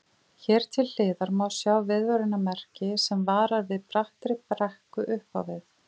Hér til hliðar má sjá viðvörunarmerki sem varar við brattri brekku upp á við.